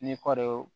Ni kɔɔri